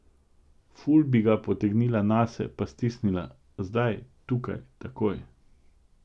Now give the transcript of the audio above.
Ful bi ga potegnila nase pa stisnila, zdaj, tukaj, takoj.